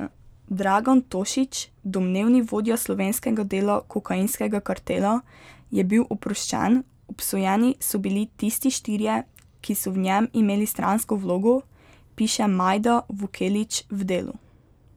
Dragan Tošić, domnevni vodja slovenskega dela kokainskega kartela, je bil oproščen, obsojeni so bili tisti štirje, ki so v njem imeli stransko vlogo, piše Majda Vukelić v Delu.